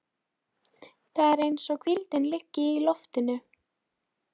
Það er eins og hvíldin liggi í loftinu.